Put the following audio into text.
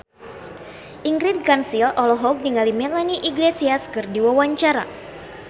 Ingrid Kansil olohok ningali Melanie Iglesias keur diwawancara